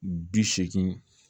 Bi seegin